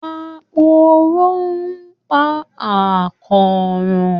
Aporó ń pa àkóràn